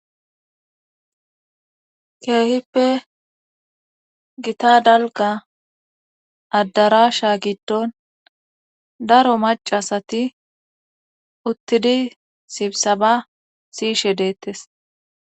Keehippe gita dalga adarasha giddon daro macasati uttidi sibsaba siishe deettes.